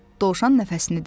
Dovşan nəfəsini dərdi.